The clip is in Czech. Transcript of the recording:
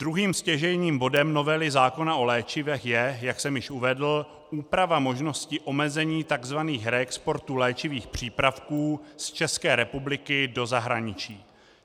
Druhým stěžejním bodem novely zákona o léčivech je, jak jsem již uvedl, úprava možnosti omezení tzv. reexportů léčivých přípravků z České republiky do zahraničí.